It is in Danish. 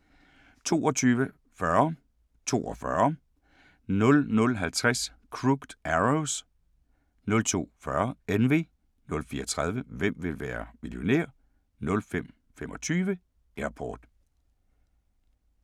22:40: 42 00:50: Crooked Arrows 02:40: Envy 04:30: Hvem vil være millionær? 05:25: Airport